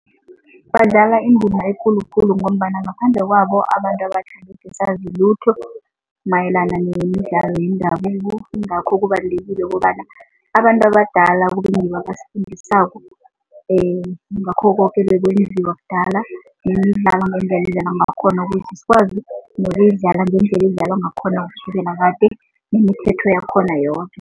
Badlala indima ekulu khulu ngombana ngaphandle kwabo, abantu abatjha angekhe sazi lutho mayelana nemidlalo yendabuko yingakho kubalulekile kobana abantu abadala kube ngibo abasifundisako ngakho koke ebekwenziwa kudala ngendlela edlalwa ngakhona ukuze sikwazi nokuyidlala ngendlela edlalwa ngakhona kusukela kade, yakhona yoke.